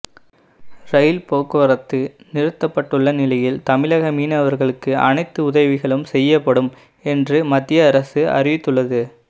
ரயில் போக்குவரத்து நிறுத்தப்பட்டுள்ள நிலையில் தமிழக மீனவர்களுக்கு அனைத்து உதவிகளும் செய்யப்படும் என்று மத்திய அரசு அறிவித்துள்ளது